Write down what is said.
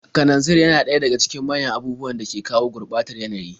Kananzir yana daga cikin manyan abubuwan da ke kawo gurɓatar yanayi.